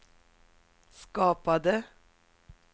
skapade